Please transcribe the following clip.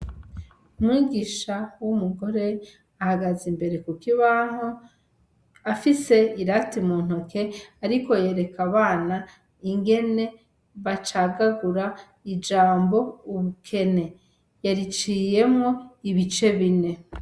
Umwigisha w'umugore ahagaze imbere ku kibaho, afise irate mu ntoke ariko yereka abana ingene bacagagura ijambo <<ubukene>>, yariciyemwo ibice bine.